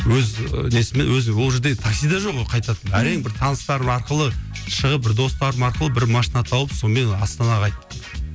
өз і несімен өзі ол жерде такси де жоқ ол қайтатын әрең бір таныстарым арқылы шығып бір достарым арқылы бір машина тауып сонымен астанаға қайттым